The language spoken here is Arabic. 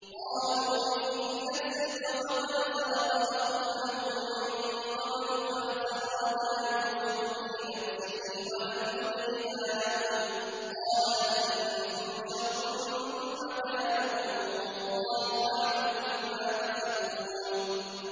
۞ قَالُوا إِن يَسْرِقْ فَقَدْ سَرَقَ أَخٌ لَّهُ مِن قَبْلُ ۚ فَأَسَرَّهَا يُوسُفُ فِي نَفْسِهِ وَلَمْ يُبْدِهَا لَهُمْ ۚ قَالَ أَنتُمْ شَرٌّ مَّكَانًا ۖ وَاللَّهُ أَعْلَمُ بِمَا تَصِفُونَ